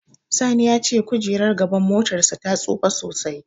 Sani ya ce kojerar gaban motarsa ta tsufa sosai.